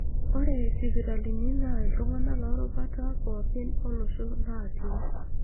Ore isipitalini naa iltung'ana loorubata pooki olosho naati.